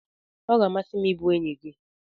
Ọ ga-amasị m ịbụ enyi gị.